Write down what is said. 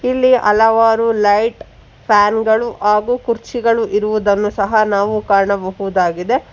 ಇಲ್ಲಿ ಹಲವಾರು light fan ಗಳು ಹಾಗು ಕುರ್ಚಿಗಳು ಇರುವುದನ್ನು ಸಹ ನಾವು ಕಾಣಬಹುದಾಗಿದೆ.